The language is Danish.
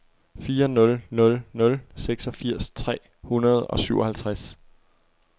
fire nul nul nul seksogfirs tre hundrede og syvoghalvtreds